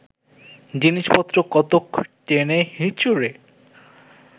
জিনিসপত্র কতক টেনে হিঁচড়ে